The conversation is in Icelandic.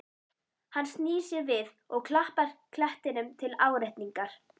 Hann snýr sér við og klappar klettinum til áréttingar.